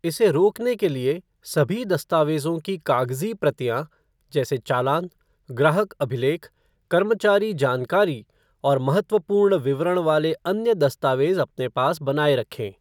इसे रोकने के लिए, सभी दस्तावेज़ों की कागज़ी प्रतियाँ, जैसे चालान, ग्राहक अभिलेख, कर्मचारी जानकारी और महत्वपूर्ण विवरण वाले अन्य दस्तावेज़ अपने पास बनाए रखें।